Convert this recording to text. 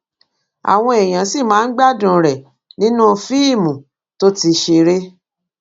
àwọn èèyàn sì máa ń gbádùn rẹ nínú fíìmù tó ti ṣeré